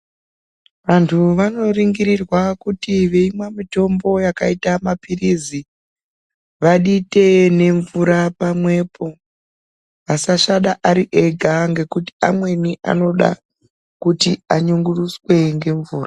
Vantu vanoringirirwa kuti veimwa mitombo yakaite mapilizi vadite nemvura pamwepo vasasvada ari ega ngekuti amweni anoda kuti anyunguruswe ngemvura.